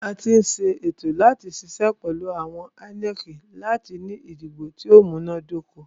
A tí ń ṣe ètò láti ṣiṣẹ́ pẹ̀lú àjọ INEC láti ní ìdìbò tí o múná dóko.